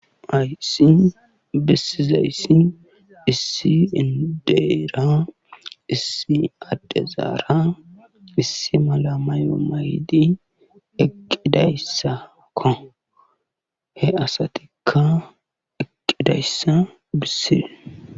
Hayssi besizayssi issi inddera issi addezara issi mala mayo mayidi eqqidayssakko he asatikka eqqidayssata besees.